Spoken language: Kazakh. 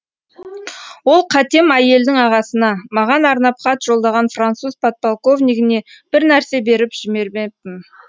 ол қатем әйелдің ағасына маған арнап хат жолдаған француз подполковнигіне бір нәрсе беріп жібермеппін